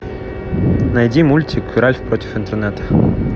найди мультик ральф против интернета